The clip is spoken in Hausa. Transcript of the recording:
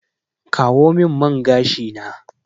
Kawo min man gashi na!